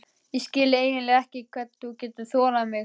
Ég skil eiginlega ekki hvernig þú getur þolað mig.